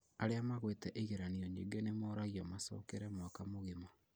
Arĩa magũĩte igeranio nyingĩ nĩmoragio macokere mwaka mũgima